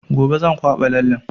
Gobe zan kwaɓa lallen